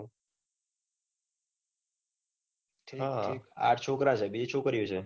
હ આઠ છોકરા છે બીજી છોકરી ઓ